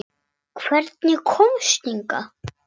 Hvernig komstu hingað?